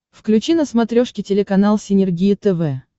включи на смотрешке телеканал синергия тв